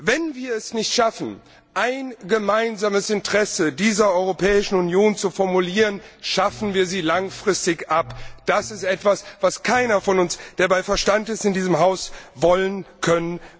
Wenn wir es nicht schaffen, ein gemeinsames Interesse dieser Europäischen Union zu formulieren, schaffen wir sie langfristig ab. Das ist etwas, was keiner von uns in diesem Haus, der bei Verstand ist, wollen kann.